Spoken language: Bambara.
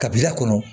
Kabila kɔnɔ